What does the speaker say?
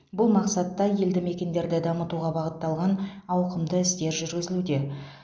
бұл мақсатта елді мекендерді дамытуға бағытталған ауқымды істер жүргізілуде